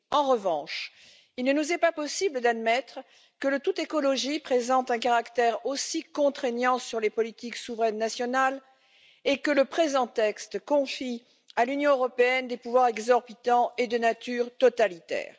En revanche, il ne nous est pas possible d'admettre que le tout écologie présente un caractère aussi contraignant sur les politiques souveraines nationales et que le présent texte confie à l'Union européenne des pouvoirs exorbitants et de nature totalitaire.